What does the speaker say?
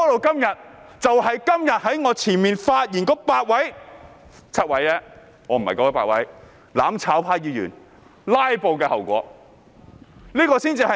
這就是今天在我之前發言的8位議員——只是7位——"攬炒派"議員"拉布"的後果。